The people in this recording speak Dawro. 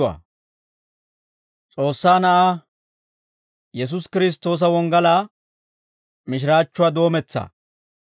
S'oossaa Na'aa Yesuusi Kiristtoosa wonggalaa mishiraachchuwaa doometsaa.